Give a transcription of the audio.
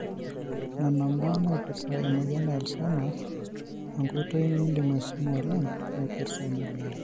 nona imbaa naipirta emoyian e Alzheimers ongoitoi nindim aisuma oleng naipirta ina.